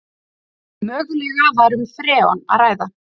Mögulega var um freon að ræða